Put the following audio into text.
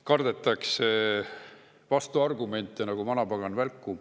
Kardetakse vastuargumente nagu vanapagan välku.